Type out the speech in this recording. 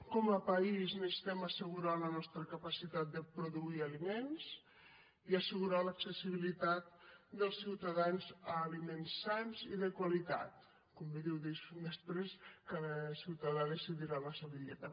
com a país necessitem assegurar la nostra capacitat de produir aliments i assegurar l’accessibilitat dels ciutadans a aliments sans i de qualitat com bé diu després cada ciutadà decidirà la seva dieta